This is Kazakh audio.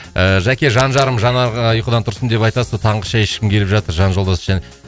ііі жәке жан жарым жанарға ұйқыдан тұрсын деп айтасыз ба таңғы шай ішкім келіп жатыр жан жолдасы